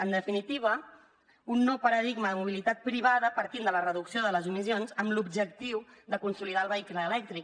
en definitiva un nou paradigma de mobilitat privada partint de la reducció de les emissions amb l’objectiu de consolidar el vehicle elèctric